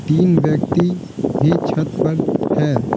तीन व्यक्ति भी छत पर है।